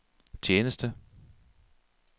tjeneste